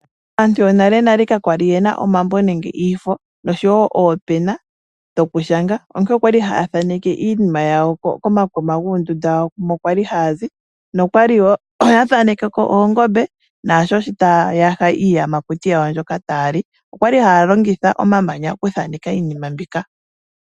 Aantu yonalenale kakwali yena omambo nenge iifo noshowo oopena dhoku shanga, onkene okwali haya thaneke iinima yawo komakuma guundunda wawo mu kwali hayazi oya thanekeko oongombe naashi taya yaha iiyamakuti yawo mbyoka taya li okwali haya longitha omamanya oku thaneka iinima mbika.